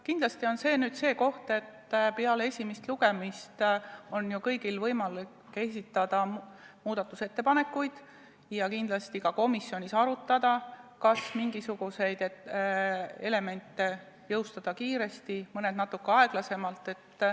Kindlasti on see nüüd see koht, kus saab öelda, et peale esimest lugemist on ju kõigil võimalik esitada muudatusettepanekuid ja ka komisjonis arutada, kas mingisuguseid elemente jõustada kiiresti ja mõnda natukene aeglasemalt.